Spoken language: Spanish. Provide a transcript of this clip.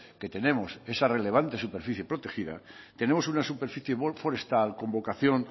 que tenemos esa relevante superficie protegida tenemos una superficie forestal con vocación